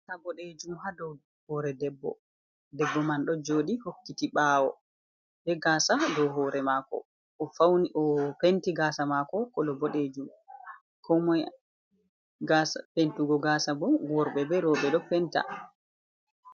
Gaasa boɗeejum haa hoore debbo. Debbo man ɗo joɗi hokkiti ɓawo bee gaasa haa dow hoore maako. O ɗo fawni o penti gaasa maako kolo boɗeejum koo moye ɓeddugo gaasa boo worɓe be rewɗe ɗo penta.